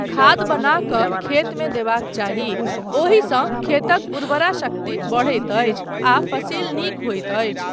खाद बना कऽ खेतमे देबाक चाही ओहिसँ खेतक उर्वरा शक्ति बढ़ैत अछि आ फसिल नीक होइत अछि।